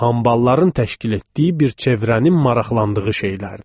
və hambalların təşkil etdiyi bir çevrənin maraqladığı şeylərdir.